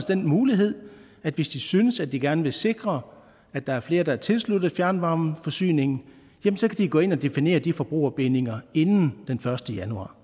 den mulighed at hvis de synes de gerne vil sikre at der er flere der er tilsluttet fjernvarmeforsyningen så kan de gå ind og definere de forbrugerbindinger inden den første januar